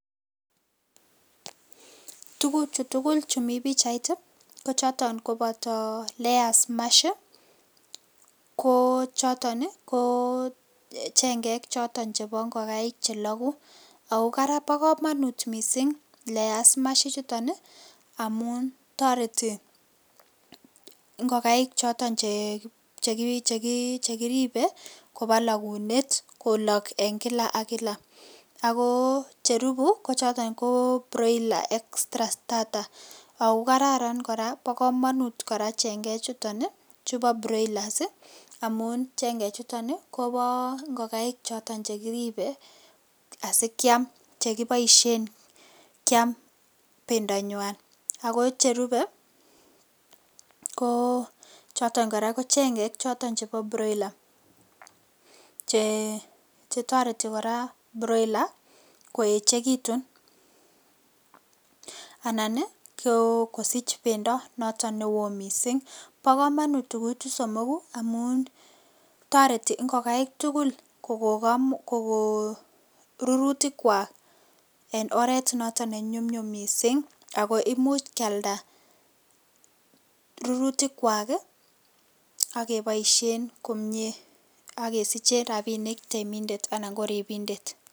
Tuguchu tugul chumi pichait ii kochoton koboto layer mash ko choton ko chengek choton chebo ingokaik cheloku ako bokomonut Layer mash ichuton ii amun toreti ingokaik choton chekiribe kobolokunet kolok en kila ak kila, ako cherubu kochoton broiler extra strarta ako kararan koraa bokomonut chengechuton chubo broilers ii amu chengechuton kobo ingokaik choton chekiribe asikiam chekiboishen kiam bendanywan , ako cherube ko choton koraa ko chengek choton chebo broiler che chetoreti koraa broiler koechekitun anan ii kosich bendo noton newo misink, bokomonut tuguchu somoku amun toreti ingokaik tugul kokon rurutikwak en oret noton nenyumnyum misink ako imuch kialda rurutikwak ii ak keboishen komie ak kesiche rabisiek temindet anan koribindet.